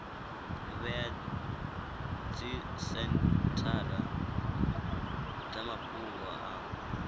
vhea dzisenthara dza mafhungo a